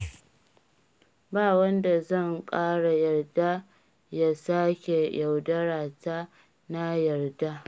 Ba wanda zan ƙara yarda ya sake yaudara ta na yarda